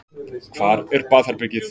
Hvar er baðherbergið?